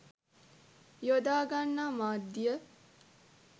යොදා ගන්නා මාධ්‍යය